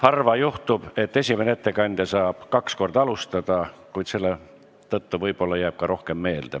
Harva juhtub, et esimene ettekandja saab kaks korda alustada, kuid selle tõttu võib-olla jääb ta ka rohkem meelde.